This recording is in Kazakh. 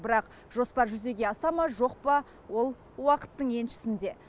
бірақ жоспар жүзеге аса ма жоқ па ол уақыттың еншісінде